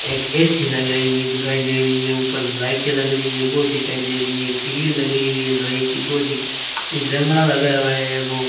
एक ए_सी लगाई हुई दिखाई दे रही है ऊपर लाइटें लग रही है वो दिखाई दे रही है ग्रिल लगाई हुई है लोहे की वो दिख जंगड़ा लगा हुआ है वो --